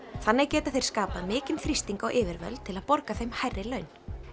þannig geta þeir skapað mikinn þrýsting á yfirvöld til að borga þeim hærri laun